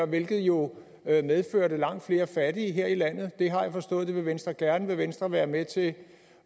hvilket jo medførte langt flere fattige her i landet jeg har forstået at det vil venstre gerne vil venstre være med til